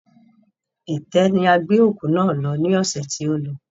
Itẹ́ ni a gbé òkú náà lọ ní ọsẹ̀ tí o lọ